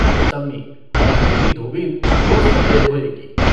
सम्मी - और मेरी धोबिन रोज़ कपड़े धोएगी।